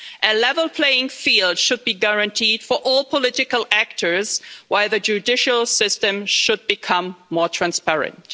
A level playing field should be guaranteed for all political actors, while the judicial system should become more transparent.